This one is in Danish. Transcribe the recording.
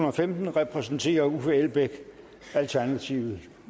og femten repræsenterer uffe elbæk alternativet